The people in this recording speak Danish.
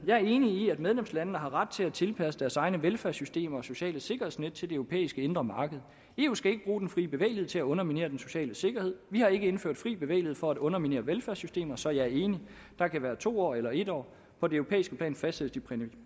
jeg er enig i at medlemslandene har ret til at tilpasse deres egne velfærdssystemer og sociale sikkerhedsnet til det europæiske indre marked eu skal ikke bruge den fri bevægelighed til at underminere den sociale sikkerhed og vi har ikke indført den fri bevægelighed for at underminere velfærdssystemerne så jeg er enig der kan være to år eller en år på det europæiske plan fastsættes de